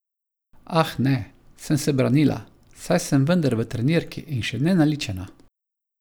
Ah, ne, sem se branila, saj sem vendar v trenirki in še nenaličena.